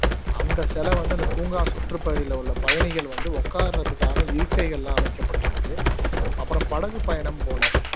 அந்த சிலை வந்து அந்த பூங்கா சுற்றுப்பகுதியில உள்ள பயணிகள் வந்து உக்கார்ரதுக்கான் இருக்கைகள்லாம் அமைக்கப்பட்டிருக்கு அப்பறம் படகு பயணம் போனோம்